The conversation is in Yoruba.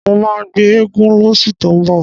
Mó máa gbé eégún lóṣù tó ń bọ̀.